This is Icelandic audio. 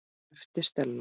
æpti Stella.